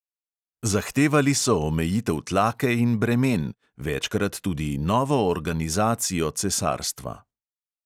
Zahtevali so omejitev tlake in bremen, večkrat tudi novo organizacijo cesarstva.